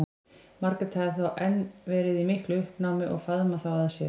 Margrét hafði þá enn verið í miklu uppnámi og faðmað þá að sér.